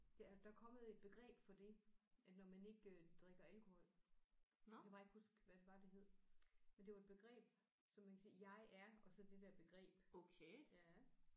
Ja der er kommet et begreb for det at når man ikke øh drikker alkohol jeg kan bare ikke huske hvad det var det hed men det var et begreb som man kan sige jeg er og så det der begreb